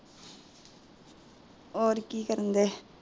ਹੋਰ ਕਿ ਕਰਨ ਡਏ